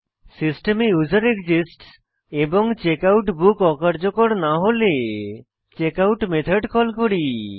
সিস্টেমে ইউজারএক্সিস্টস এবং checkout book অকার্যকর না হলে আমরা চেকআউট মেথড কল করি